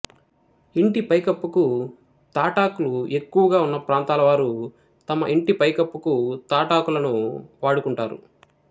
ఇంటి పైకప్పుకు తాటాకులు ఎక్కువగా వున్న ప్రాంతాల వారు తమ ఇంటి పై కప్పుకు తాటాకులను వాడు కుంటారు